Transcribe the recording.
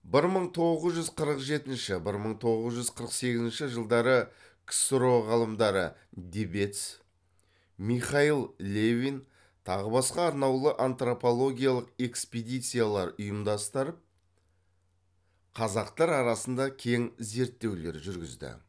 бір мың тоғыз жүз қырық жетінші бір мың тоғыз жүз қырық сегізнші жылдары ксро ғалымдары дебец михаил левин тағы басқа арнаулы антропологиялық экспедициялар ұйымдастырып қазақтар арасында кең зерттеулер жүргізді